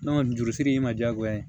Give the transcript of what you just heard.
jurusiri in ma diyagoya ye